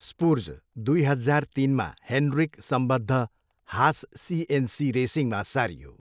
स्पुर्ज दुई हजार तिनमा हेन्ड्रिक सम्बद्ध हास सिएनसी रेसिङमा सारियो।